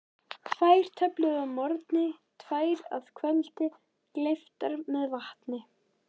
Tvær töflur að morgni, tvær að kvöldi, gleyptar með vatni.